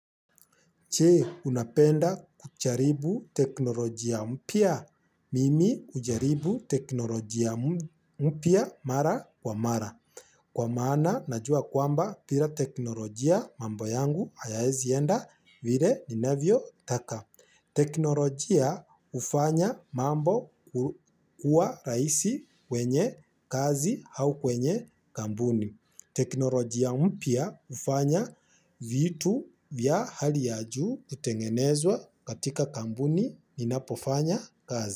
Je, unapenda kujaribu teknolojia mpya. Mimi hujaribu teknolojia mpya mara kwa mara. Kwa maana najua kwamba bila teknolojia mambo yangu hayawezi enda vile ninavyotaka. Teknolojia hufanya mambo kuwa rahisi kwenye kazi au kwenye kampuni. Teknolojia mpya hufanya vitu vya hali ya juu kutengenezwa katika kampuni inapofanya kazi.